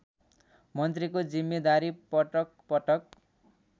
मन्त्रीको जिम्मेदारी पटकपटक